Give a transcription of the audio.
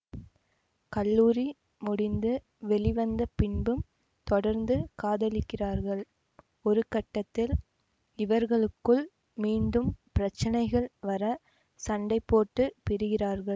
கல்லூரி முடிந்து வெளிவந்த பின்பும் தொடர்ந்து காதலிக்கிறார்கள் ஒருகட்டத்தில் இவர்களுக்குள் மீண்டும் பிரச்சினைகள் வர சண்டைபோட்டு பிரிகிறார்கள்